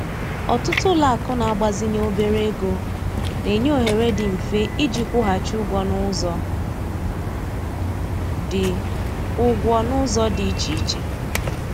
Ọtụtụ ụlọakụ na-agbazinye obere ego na-enye ohere dị mfe iji kwụghachi ụgwọ n'ụzọ dị ụgwọ n'ụzọ dị iche iche